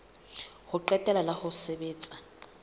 ho qetela la ho sebetsa